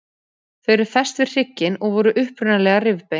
Þau eru fest við hrygginn og voru upprunalega rifbein.